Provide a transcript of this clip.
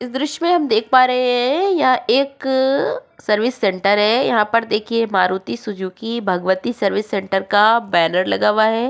इस दृश्य में हम देख पा रहे हैं यह एक सर्विस सेंटर है यहाँ पर देखिये Maruti Suzuki Bhagwati service centre का बैनर लगा हुआ है।